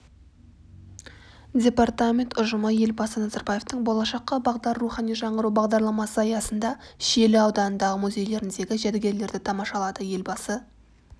департамент ұжымы елбасы назарбаевтың болашаққа бағдар рухани жаңғыру бағдарламасы аясында шиелі ауданындағы музейлеріндегі жәдігерлерді тамашалады елбасы